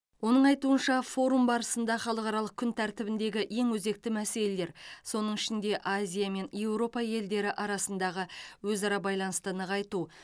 оның айтуынша форум барысында халықаралық күн тәртібіндегі ең өзекті мәселелер соның ішінде азия мен еуропа елдері арасындағы өзара байланысты нығайту